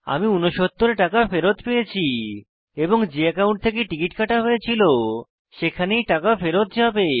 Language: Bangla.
আমি 69 টাকা ফেরৎ পেয়েছি এবং যে একাউন্ট থেকে টিকিট কাটা হয়েছিল টাকা সেখানেই টাকা ফেরৎ যাবে